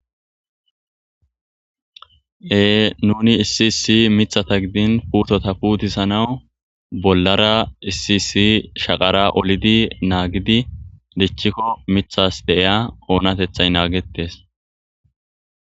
Nunni issi issi mithata gidini puttota putissanawu bollara issi issi shaqara ollidi nagiddi dichikko mithasi deyiya onatethayi nagetesi.